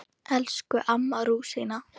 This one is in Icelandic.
Elsku amma rúsína.